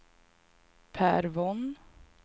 Pär Von